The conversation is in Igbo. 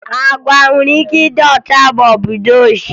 Agwa nwere ike ịdị ọcha maọbụ dị oji